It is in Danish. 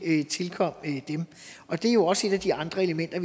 tilkom dem og det er jo også et af de andre elementer